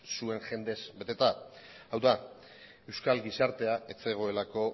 zuen jendez beteta hau da euskal gizartea ez zegoelako